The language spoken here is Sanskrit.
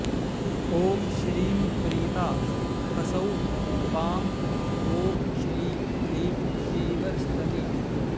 ॐ श्रीं प्रीता ह्सौः पामा ॐ श्रीं क्लीं पीवरस्तनी